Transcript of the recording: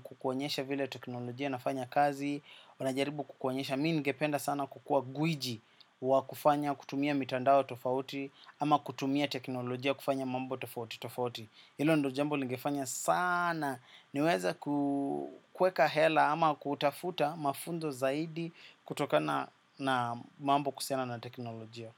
kukuonyesha vile teknolojia inafanya kazi wanajaribu kukuonyesha. Mimi ningependa sana kukuwa gwiji wa kufanya kutumia mitandao tofauti ama kutumia teknolojia kufanya mambo tofauti tofauti. Hilo ndo jambo lingefanya sana niweze kukeka hela ama kutafuta mafunzo zaidi. Kutokana na mambo kuhusiana na teknolojia.